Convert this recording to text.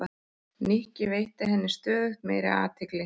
Nikki, veitti henni stöðugt meiri athygli.